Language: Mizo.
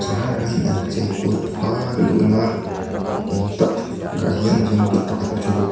hmangin an chei kual bawka luhna eng tak ah hian vengtu pakhat thu bawk.